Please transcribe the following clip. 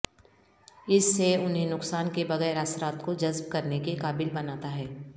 اس سے انہیں نقصان کے بغیر اثرات کو جذب کرنے کے قابل بناتا ہے